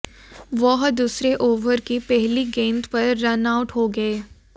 वह दूसरे ओवर की पहली गेंद पर रन आउट हो गए